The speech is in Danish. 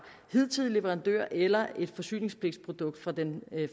hidtidige leverandør eller til et forsyningspligtsprodukt fra den